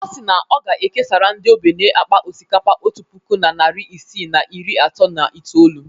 Ọ si na ọ ga-ekesara ndị ogbenye akpa osikapa otu puku na narị isii na iri atọ na itoolu.